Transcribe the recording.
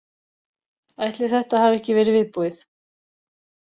Ætli þetta hafi ekki verið viðbúið.